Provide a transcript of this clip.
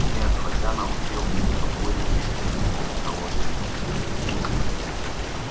нет хотя научился что будет если выпустить на волю